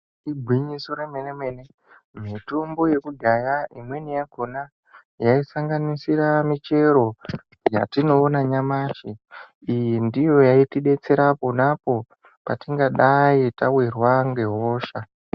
Igwinyiso remene mene mitombo yekudhaya imweni yakhona yaisangansira michero yatinoona nyamashi iyi ndiyo yaitidetsera ponapo patingadayi tawirwa ngehosha.